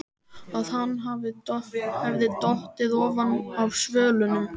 Að hann hefði dottið ofan af svölunum!